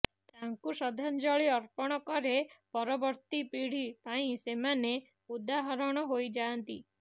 ତାଙ୍କୁ ଶ୍ରଦ୍ଧାଂଜଳି ଅର୍ପଣ କରେ ପରବର୍ତ୍ତୀ ପୀଢୀ ପାଇଁ ସେମାନେ ଉଦାହରଣ ହୋଇଯାଆନ୍ତି